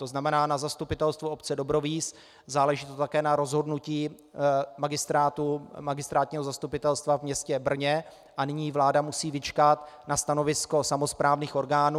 To znamená na zastupitelstvu obce Dobrovíz, záleží to také na rozhodnutí magistrátního zastupitelstva v městě Brně a nyní vláda musí vyčkat na stanovisko samosprávných orgánů.